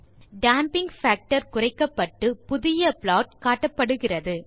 damping factor குறைக்கப்பட்டு புதிய plot காட்டப்படுகிறது